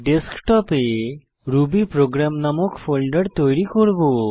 ডেস্কটপে রুবিপ্রোগ্রাম নামক ফোল্ডার তৈরী করব